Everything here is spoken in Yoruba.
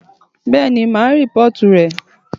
Bẹ́ẹ̀ni màá reportu rẹ.